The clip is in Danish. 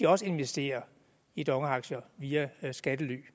også investerer i dong aktier via skattely